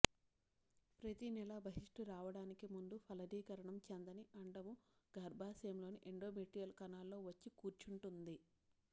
ప్రతినెలా బహిష్టురావడానికి ముందు ఫలదీకరణం చెందని అండము గర్భాశయంలో ని ఎండ్రోమెట్రియల్ కణాల్లో వచ్చి కూర్చుంటుంది